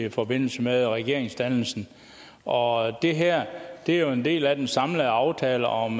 i forbindelse med regeringsdannelsen og det her er jo en del af den samlede aftale om